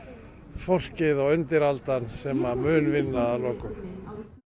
fólkið og undiraldan sem að mun vinna að lokum